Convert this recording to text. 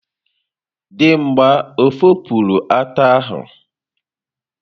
Dimgba o fopụrụ ata ahu?